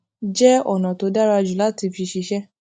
jẹ ònà tó dára jù láti fi ṣiṣẹ